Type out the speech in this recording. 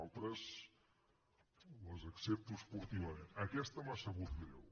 altres les accepto esportivament aquesta m’ha sabut greu